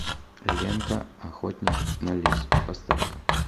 лента охотник на лис поставь ка